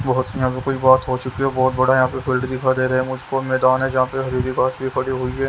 बहुत बॉक्स हो चुकी है बहोत बड़ा यहां पे दे रहे है उस स्कूल में हुई है।